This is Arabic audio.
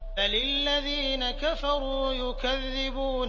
بَلِ الَّذِينَ كَفَرُوا يُكَذِّبُونَ